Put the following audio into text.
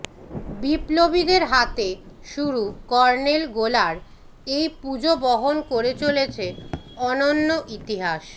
বিপ্লবীদের হাতে শুরু কর্ণেলগোলার এই পুজো বহন করে চলেছে অনন্য ইতিহাস